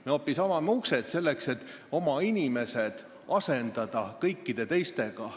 Me hoopis avame uksed, selleks et oma inimesed asendada kõikide teistega.